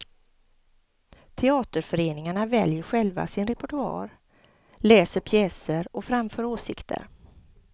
Teaterföreningarna väljer själva sin repertoar, läser pjäser och framför åsikter.